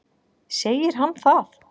Segir hann það?